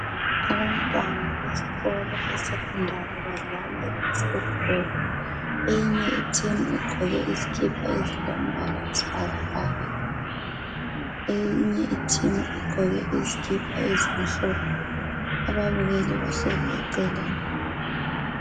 Abantwana besikolo beSekhondari badlala i"Basketball".Eyinye iteam igqoke izikipa ezilombala oyisibhakabhaka. Eyinye iteam igqoke izikipa ezilomhlophe. Ababukeli bahlezi eceleni.